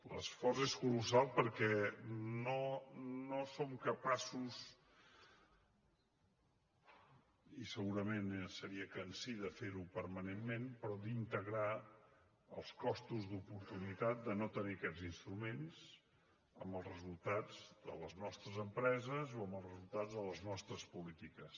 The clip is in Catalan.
l’esforç és colossal perquè no som capaços i segurament seria cansí de fer ho permanentment d’integrar els costos d’oportunitat de no tenir aquests instruments amb els resultats de les nostres empreses o amb els resultats de les nostres polítiques